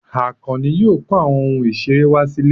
Àkànní yóò kó àwọn ohun ìṣeré wá sílé.